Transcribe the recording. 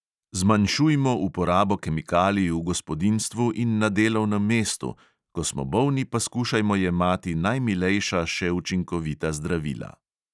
Zmanjšujmo uporabo kemikalij v gospodinjstvu in na delovnem mestu, ko smo bolni, pa skušajmo jemati najmilejša še učinkovita zdravila.